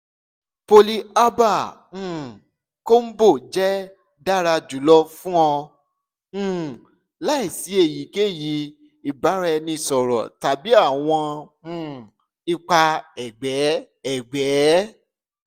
polyherbal um combo jẹ dara julọ fun ọ um laisi eyikeyi ibaraẹnisọrọ tabi awọn um ipa ẹgbẹ ẹgbẹ